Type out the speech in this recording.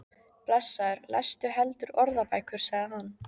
Blessaður lestu heldur orðabækur, sagði hann.